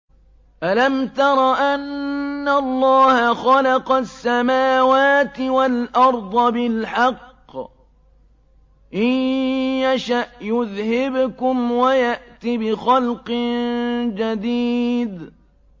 أَلَمْ تَرَ أَنَّ اللَّهَ خَلَقَ السَّمَاوَاتِ وَالْأَرْضَ بِالْحَقِّ ۚ إِن يَشَأْ يُذْهِبْكُمْ وَيَأْتِ بِخَلْقٍ جَدِيدٍ